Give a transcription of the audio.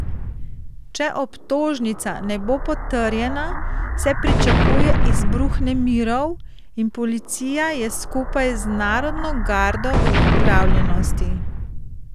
Če obtožnica ne bo potrjena, se pričakuje izbruh nemirov in policija je skupaj z narodno gardo v pripravljenosti.